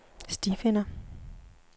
stifinder